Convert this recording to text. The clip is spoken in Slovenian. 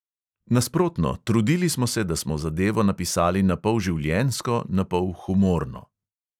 Nasprotno, trudili smo se, da smo zadevo napisali napol življenjsko, napol humorno.